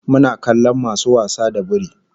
Muna kallon masu wasa da biri